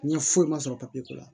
N ye foyi ma sɔrɔ ko la